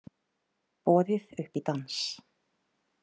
Boðið upp í dans